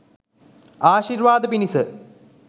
ආශීර්වාද පිණිස